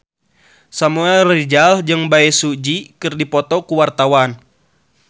Samuel Rizal jeung Bae Su Ji keur dipoto ku wartawan